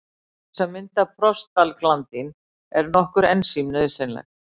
Til þess að mynda prostaglandín eru nokkur ensím nauðsynleg.